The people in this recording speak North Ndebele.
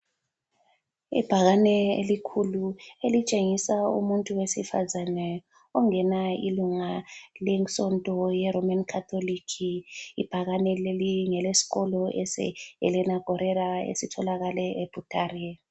Ibhakane elikhulu elitshengisa umuntu wesifazane ongena ilunga le nsonto ye Roman Catholic ibhakane leli ngelesikolo ese Helena guerra esitholakala eButare.